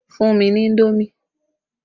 Fún mi ní indomi!